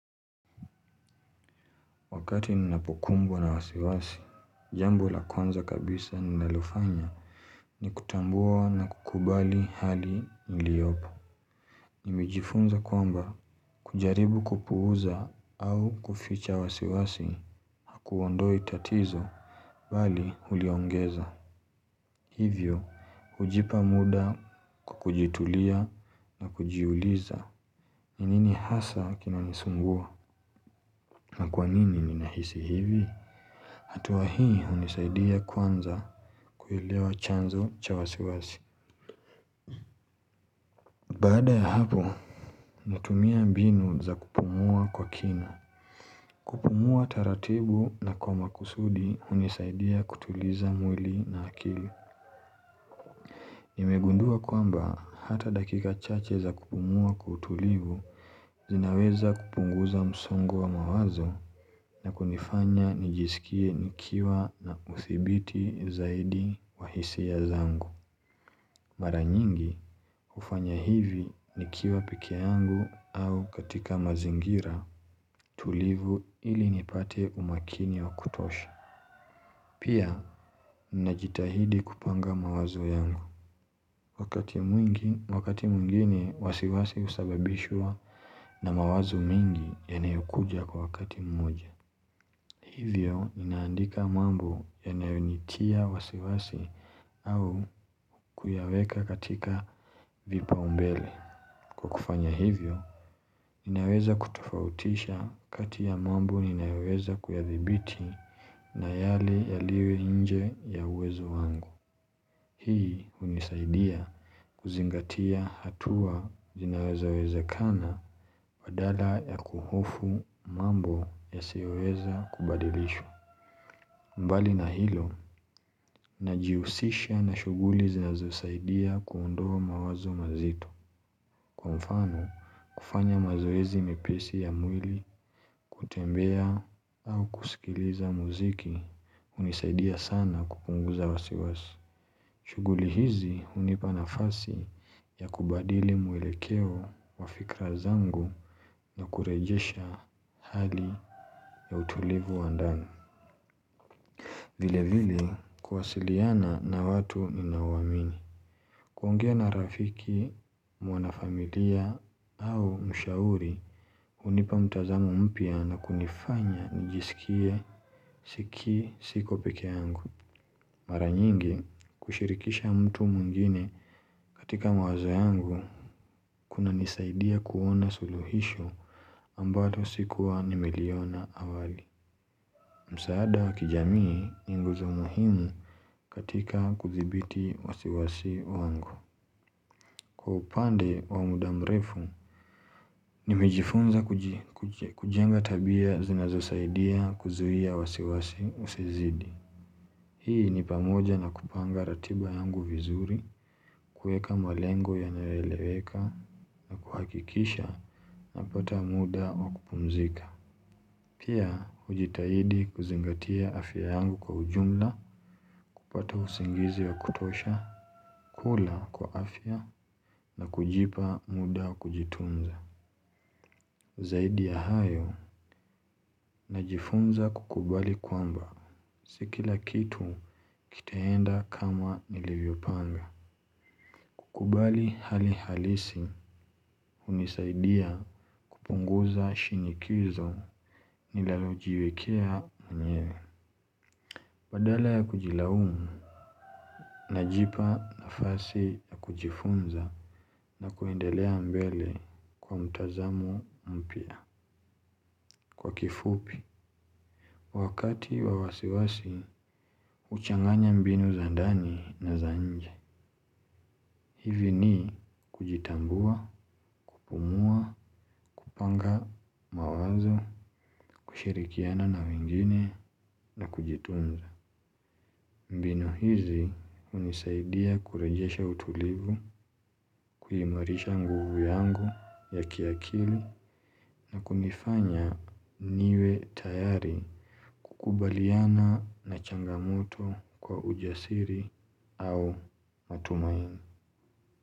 Wakati ninapokumbwa na wasiwasi, jambo la kwanza kabisa ninalofanya ni kutambua na kukubali hali niliopo. Nimejifunza kwamba kujaribu kupuuza au kuficha wasiwasi hakuondoi tatizo bali huliongeza. Hivyo, hujipa muda kwa kujitulia na kujiuliza. Ni nini hasa kinanisumbua? Na kwa nini ninahisi hivi? Hatua hii hunisaidia kwanza kuilewa chanzo cha wasiwasi. Baada ya hapo, natumia mbinu za kupumua kwa kina. Kupumua taratibu na kwa makusudi hunisaidia kutuliza mwili na akili. Nimegundua kwamba hata dakika chache za kupumua kwa utulivu zinaweza kupunguza msongo wa mawazo na kunifanya nijisikie nikiwa na uthibiti zaidi wa hisia zangu. Mara nyingi hufanya hivi nikiwa peke yangu au katika mazingira tulivu ili nipate umakini wa kutosha. Pia ninajitahidi kupanga mawazo yangu. Wakati mwingine wasiwasi husababishwa na mawazo mingi yanayokuja kwa wakati mmoja. Hivyo ninaandika mambo yanayonitia wasiwasi au kuyaweka katika vipaumbele. Kwa kufanya hivyo, ninaweza kutofautisha kati ya mambo ninayoweza kuyadhibiti na yale yaliyo nje ya uwezo wangu. Hii hunisaidia kuzingatia hatua zinaweza wezakana wa dala ya kuhofu mambo yasiyoweza kubadilishwa. Mbali na hilo, najihusisha na shughuli zinazosaidia kuondoa mawazo mazito. Kwa mfano, kufanya mazoezi mepesi ya mwili kutembea au kusikiliza muziki hunisaidia sana kupunguza wasiwasi. Shughuli hizi hunipa nafasi ya kubadili mwelekeo wa fikra zangu na kurejesha hali ya utulivu wa ndani. Vile vile kuwasiliana na watu ninaowamini. Kuongea na rafiki, mwana familia au mshauri hunipa mtazamo mpya na kunifanya nijisikie siko peke yangu. Mara nyingi kushirikisha mtu mwingine katika mawazo yangu kunanisaidia kuona suluhisho ambalo sikuwa nimeliona awali. Msaada wa kijamii ni nguzo muhimu katika kudhibiti wasiwasi wangu. Kwa upande wa muda mrefu ni nimejifunza kujenga tabia zinazosaidia kuzuia wasiwasi usizidi. Hii ni pamoja na kupanga ratiba yangu vizuri, kueka malengo yanayoeleweka, na kuhakikisha napata muda wa kupumzika. Pia, hujitahidi kuzingatia afya yangu kwa ujumla, kupata usingizi wa kutosha, kula kwa afya, na kujipa muda wa kujitunza. Zaidi ya hayo, najifunza kukubali kwamba, si kila kitu kitaenda kama nilivyopanga. Kukubali hali halisi, hunisaidia kupunguza shinikizo, ninalojiwekea mwenyewe. Badala ya kujilaumu najipa nafasi ya kujifunza na kuendelea mbele kwa mtazamo mpya kwa kifupi. Wakati wa wasiwasi huchanganya mbinu za ndani na za nje. Hivi ni kujitambua, kupumua, kupanga mawazo, kushirikiana na wengine na kujitunza. Mbinu hizi hunisaidia kurejesha utulivu, kuimarisha nguvu yangu ya kiakili na kunifanya niwe tayari kukubaliana na changamoto kwa ujasiri au matumaini.